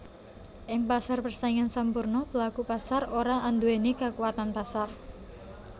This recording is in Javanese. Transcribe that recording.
Ing pasar persaingan sampurna pelaku pasar ora anduwèni kakuwatan pasar